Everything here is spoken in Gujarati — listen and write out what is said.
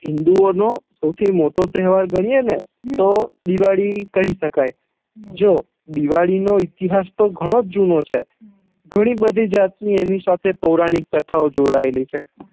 હિંદુ ઓં નો સૌથી મોટો તેહવાર ગણી યે ને તો દિવાળી કહી શકાય હમ જો દિવાળી નો ઈતિહાસ તો ગણો જુનો છે ગણી બધી પૌરાણિક કથાઓ એની સાથે જોડાયેલી છે